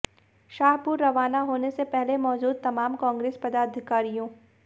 शाहपुर रवाना होने से पहले मौजूद तमाम कांग्रेस पदाधिकारियों